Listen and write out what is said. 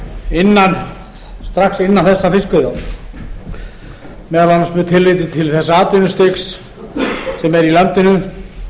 innan þessa fiskveiðiárs meðal annars með tilliti til þess atvinnustigs sem er í landinu